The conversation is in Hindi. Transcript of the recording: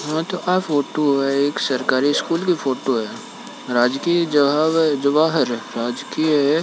यहाँ फोटो है एक सरकारी स्कुल की फोटो हैराजकीय जवाहर राजकीय--